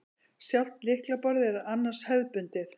Sjálft lyklaborðið er annars hefðbundið